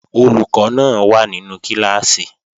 Olùkọ́ náà wà nínú kíláàsì